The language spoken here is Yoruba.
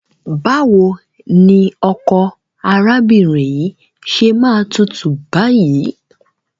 Báwo ni ọkọ arábìnrin yìí ṣe máa tútù báyìí?